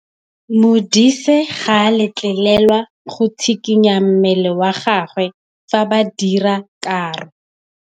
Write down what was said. Modise ga a letlelelwa go tshikinya mmele wa gagwe fa ba dira karô.